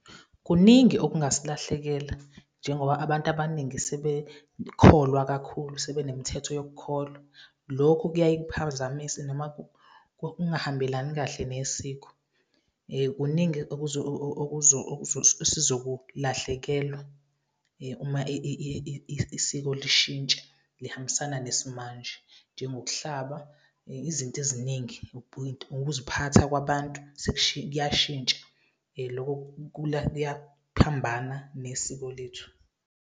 Kuningi okungasilahlekela njengoba abantu abaningi sebekholwa kakhulu, sebenemithetho yokukholwa. Lokho kuyaye kuphazamise noma kungahambelani kahle nesiko. Kuningi esizokulahlekelwa uma isiko lishintsha, lihambisana nesimanje, njengokuhlaba , izinto eziningi, ukuziphatha kwabantu kuyashintsha. Loko kuyaphambana nesiko lethu.